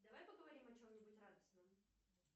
давай поговорим о чем нибудь радостном